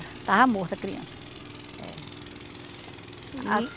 Estava morta a criança. As